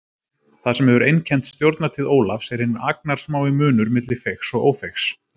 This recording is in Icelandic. Það sem hefur einkennt stjórnartíð Ólafs er hinn agnarsmái munur milli feigs og ófeigs.